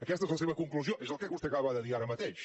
aquesta és la seva conclusió és el que vostè acaba de dir ara mateix